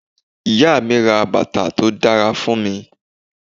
Ìyá mi ra bàtà tó dára fún mi.